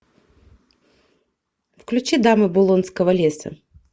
включи дамы булонского леса